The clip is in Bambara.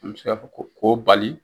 An bɛ se ka fɔ ko k'o bali.